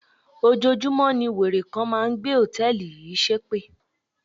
Ojoojúmọ́ ní wèrè kan máa ń gbé hòtẹ́ẹ̀lì yìí ṣépè.